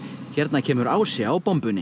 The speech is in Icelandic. hérna kemur Ási á